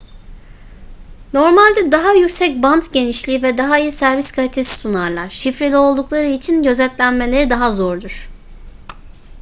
normalde daha yüksek bant genişliği ve daha iyi servis kalitesi sunarlar şifreli oldukları için gözetlenmeleri daha zordur